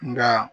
Nka